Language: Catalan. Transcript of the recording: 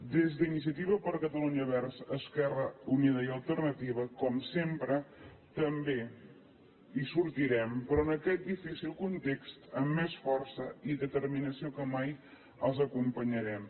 des d’iniciativa per catalunya verds esquerra unida i alternativa com sempre també hi sortirem però en aquest difícil context amb més força i determinació que mai els acompanyarem